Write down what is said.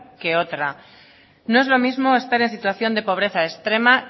que otra no es lo mismo estar en situación de pobreza extrema